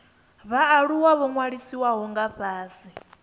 vhaaluwa ho ṅwalisiwaho nga fhasi